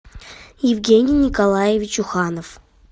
евгений николаевич уханов